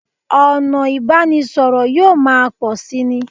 Ọ̀nà ìbánisọ̀rọ̀ yóò máa pọ̀ síi ni